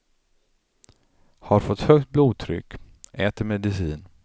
Har fått högt blodtryck, äter medicin.